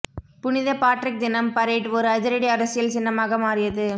புனித பாட்ரிக் தினம் பரேட் ஒரு அதிரடி அரசியல் சின்னமாக மாறியது